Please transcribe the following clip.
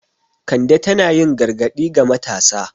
Kande tana yin gargadi ga matasa.